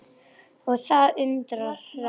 Og það undra hratt.